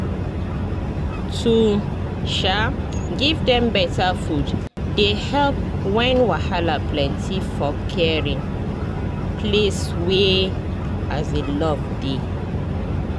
to um give dem better food dey help when wahala plenty for caring place wey um love dey